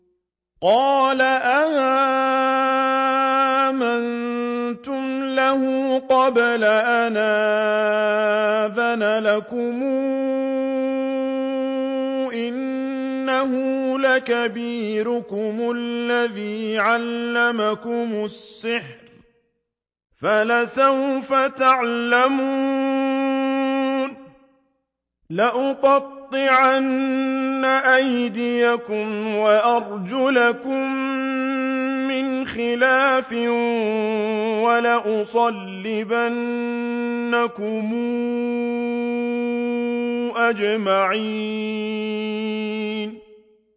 قَالَ آمَنتُمْ لَهُ قَبْلَ أَنْ آذَنَ لَكُمْ ۖ إِنَّهُ لَكَبِيرُكُمُ الَّذِي عَلَّمَكُمُ السِّحْرَ فَلَسَوْفَ تَعْلَمُونَ ۚ لَأُقَطِّعَنَّ أَيْدِيَكُمْ وَأَرْجُلَكُم مِّنْ خِلَافٍ وَلَأُصَلِّبَنَّكُمْ أَجْمَعِينَ